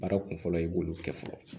Baara kun fɔlɔ i b'olu kɛ fɔlɔ